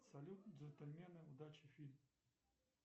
салют джентльмены удачи фильм